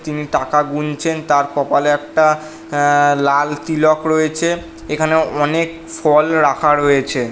তিনি টাকা গুনছেন তার কপালে একটা অ্যা লাল তিলক রয়েছে। এখানে অনেক ফল রাখা রয়েছে ।